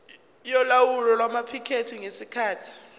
yolawulo lwamaphikethi ngesikhathi